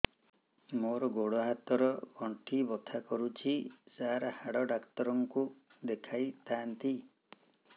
ମୋର ଗୋଡ ହାତ ର ଗଣ୍ଠି ବଥା କରୁଛି ସାର ହାଡ଼ ଡାକ୍ତର ଙ୍କୁ ଦେଖାଇ ଥାନ୍ତି